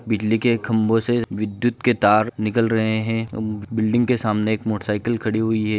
बिजली के खंबो से तार निकल रहे है बिल्डिंग से एक मोटरसाइकिल खड़ी हुई है।